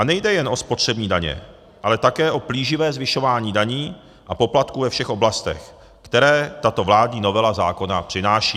A nejde jen o spotřební daně, ale také o plíživé zvyšování daní a poplatků ve všech oblastech, které tato vládní novela zákona přináší.